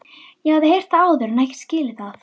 Ég hafði heyrt það áður en ekki skilið það.